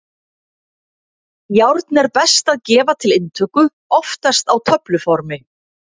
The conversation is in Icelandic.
Járn er best að gefa til inntöku, oftast á töfluformi.